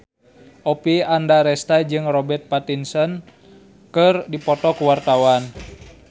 Oppie Andaresta jeung Robert Pattinson keur dipoto ku wartawan